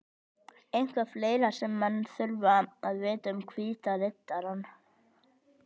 Eitthvað fleira sem menn þurfa að vita um Hvíta Riddarann?